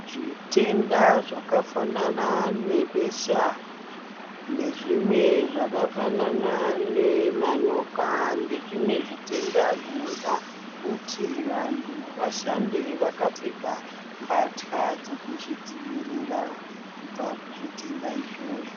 Zvitenda zvakafanana nebesha nezvimwe zvakafanana nemanyoka nezvimwe zvitenda zvinoda kuti vantu vashande vakapfeka mbatya dzekuzvidzivirira kubva kuzvitenda izvozvo.